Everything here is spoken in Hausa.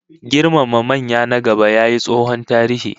Girmama manya na gaba yayi tsohon tarihi